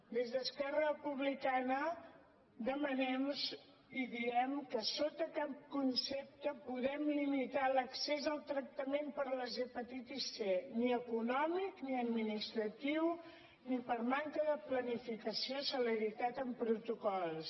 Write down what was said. des d’esquerra republicana demanem i diem que sota cap concepte podem limitar l’accés al tractament per a les hepatitis c ni econòmic ni administratiu ni per manca de planificació o celeritat en protocols